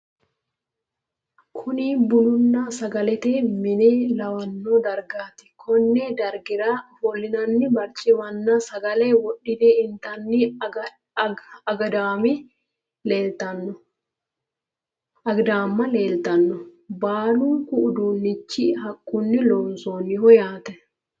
kuni bununna sagalete mine lawanno dargaati konni dargira ofo'linanni barcimmanna sagale wodhine intanni agidaamma leeltanno, baalunku uduunnichi haqqunni loonsoonniho yaate.